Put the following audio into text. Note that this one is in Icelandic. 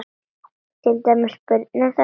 Til dæmis börnin þeirra.